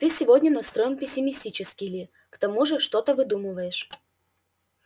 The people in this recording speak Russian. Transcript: ты сегодня настроен пессимистически ли к тому же что-то выдумываешь